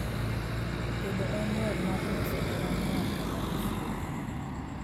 tedo en yoo mar nyiso hera ne wat kata osiepe